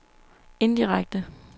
indirekte